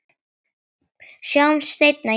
Sjáumst seinna, ég elska þig.